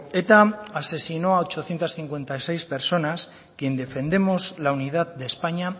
eta asesinó a ochocientos cincuenta y seis personas quien defendemos la unidad de españa